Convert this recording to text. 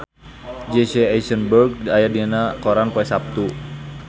Jesse Eisenberg aya dina koran poe Saptu